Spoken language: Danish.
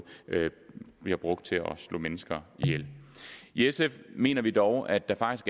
bliver brugt til at slå mennesker ihjel i sf mener vi dog at der faktisk